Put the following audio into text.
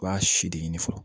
I b'a si de ɲini fɔlɔ